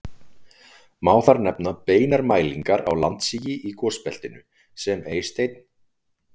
Má þar nefna beinar mælingar á landsigi í gosbeltinu sem Eysteinn